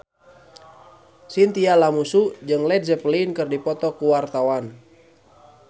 Chintya Lamusu jeung Led Zeppelin keur dipoto ku wartawan